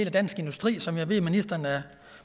af dansk industri som jeg ved ministeren er